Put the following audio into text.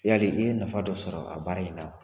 Yali i ye nafa dɔ sɔrɔ a baara in na ?